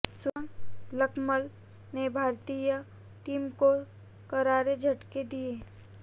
सुरंगा लकमल ने भारतीय टीम को करारे झटके दिए